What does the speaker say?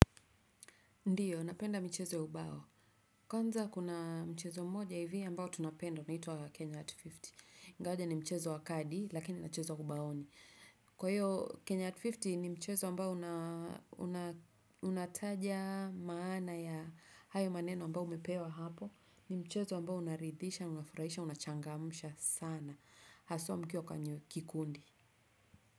Ndiyo, napenda mchezo ya ubao. Kwanza kuna mchezo mmoja hivyo ambao tunapenda, unaitwa Kenya Hat hamsini. Ingawaje ni mchezo wa kadi, lakini unachezwa ubaoni. Kwa hiyo, Kenya Hat hamsini ni mchezo ambao unataja maana ya hayo maneno ambao umepewa hapo. Ni mchezo ambao unaridhisha, unafurahisha, unachangamsha sana. Haswa mkiwa kwenye kikundi.